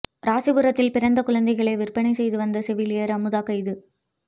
ராசிபுரத்தில் பிறந்த குழந்தைகளை விற்பனை செய்து வந்த செவிலியர் அமுதா கைது